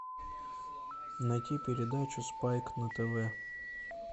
найти передачу спайк на тв